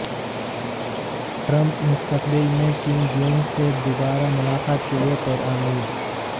Trump مستقبل میں Kim Jong سے دوبارہ ملاقات کے لیے پرامید